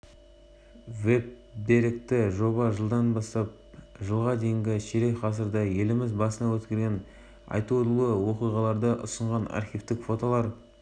қазақстандықтар бұл жайлы әлемге жар салып мақтанышпен айта алады астана әкімі әсет исекешовтың мультимедиялық жобаны